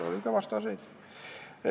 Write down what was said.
Oli ka vastaseid.